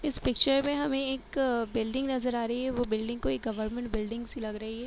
इस पिक्चर में हमे एक बिल्डिंग नजर आ रही है वो बिल्डिंग कोई गवर्नमेंट बिल्डिंग सी लग रही है।